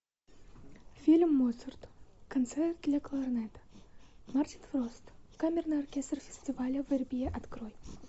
фильм моцарт концерт для кларнета мартин фрост камерный оркестр фестиваля вербье открой